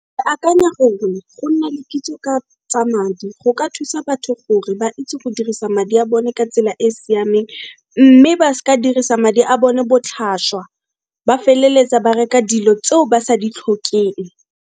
Ke akanya gore go nna le kitso ka tsa madi go ka thusa batho gore ba itse go dirisa madi a bone ka tsela e siameng, mme ba s'ka dirisa madi a bone botlhaswa. Ba feleletsa ba reka dilo tseo ba sa ditlhokeng.